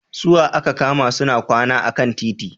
Su wa aka kama suna kwana a kan titi?